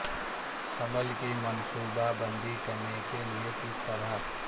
حمل کی منصوبہ بندی کرنے کے لئے کس طرح